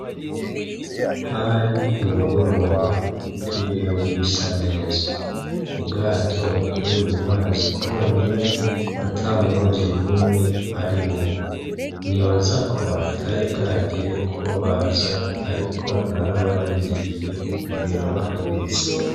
Hari ku mugoroba ikirere gisa neza, ubwato buri mu mazi bwonyene ata murovyi numwe arimwo. Nibaza ko hatari bwagere ko baza, ariko narabarindiriye kugera bahageze.